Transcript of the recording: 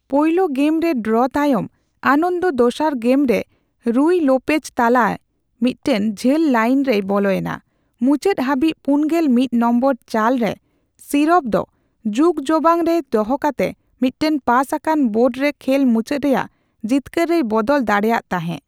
ᱯᱳᱭᱞᱳ ᱜᱮᱢ ᱨᱮ ᱰᱚᱨᱚ ᱛᱟᱭᱚᱢ, ᱟᱱᱚᱱᱫᱚ ᱫᱚᱥᱟᱨ ᱜᱮᱢ ᱨᱮ ᱨᱩᱭ ᱞᱳᱯᱮᱡ ᱛᱟᱞᱟᱮ ᱢᱤᱫᱴᱮᱱ ᱡᱷᱟᱹᱞ ᱞᱟᱭᱮᱱ ᱨᱮᱭ ᱵᱚᱞᱚᱭᱮᱱᱟ, ᱢᱩᱪᱟᱹᱫ ᱦᱟᱹᱵᱤᱡ ᱯᱩᱱᱜᱮᱞ ᱢᱤᱛ ᱱᱚᱢᱵᱚᱨ ᱪᱟᱞ ᱨᱮ ᱥᱤᱨᱚᱵᱷ ᱫᱚ ᱡᱩᱜᱡᱚᱣᱟᱝ ᱨᱮ ᱫᱚᱦᱚ ᱠᱟᱛᱮ ᱢᱤᱫᱴᱟᱝ ᱯᱟᱥ ᱟᱠᱟᱱ ᱵᱳᱲ ᱨᱮ ᱠᱷᱮᱞ ᱢᱩᱪᱟᱹᱫ ᱨᱮᱭᱟᱜ ᱡᱤᱛᱠᱟᱹᱨ ᱨᱮᱭ ᱵᱚᱫᱚᱞ ᱫᱟᱲᱮᱭᱟᱜ ᱛᱟᱸᱦᱮ ᱾